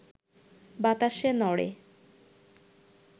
বাতাসে নড়ে,